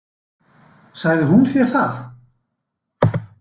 Sagði hún þér það?